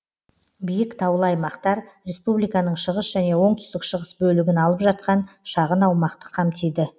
биік таулы аймактар республиканың шығыс және оңтүстік шығыс бөлігін алып жатқан шағын аумақты қамтиды